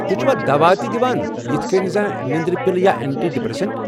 تُہۍ چھوا دوا تہِ دِوان، یِتھ کٔنۍ زن نیندرِ پِلہٕ یا اینٹی ڈپریسنٹ؟